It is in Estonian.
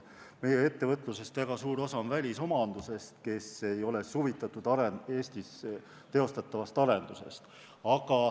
Meie ettevõtlusest on väga suur osa välisomanduses ja nad ei ole huvitatud Eestis teostatavast arendusest.